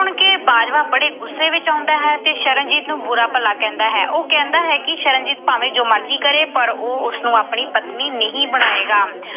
ਤੇ ਬਾਜਵਾ ਬੜੇ ਗੁੱਸੇ ਵਿੱਚ ਆਉਂਦਾ ਹੈ ਤੇ ਸ਼ਰਨਜੀਤ ਨੂੰ ਬੁਰਾ ਭਲਾ ਕਹਿੰਦਾ ਹੈ। ਉਹ ਕਹਿੰਦਾ ਹੈ ਕਿ ਸ਼ਰਨ ਭਾਵੇਂ ਜੋ ਮਰਜੀ ਕਰੇ ਪਰ ਉਹ ਉਸਨੂੰ ਆਪਣੀ ਪਤਨੀ ਨਹੀਂ ਬਣਾਏਗਾ।